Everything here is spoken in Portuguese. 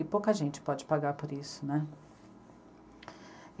E pouca gente pode pagar por isso, né?